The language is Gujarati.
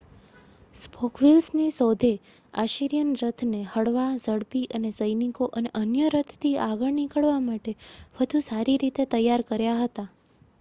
સ્પોક વ્હીલ્સની શોધે આશીરીયન રથને હળવા ઝડપી અને સૈનિકો અને અન્ય રથથી આગળ નીકળવા માટે વધુ સારી રીતે તૈયાર કર્યા હતા